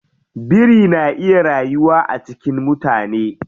Biri na iya rayuwa a cikin mutane.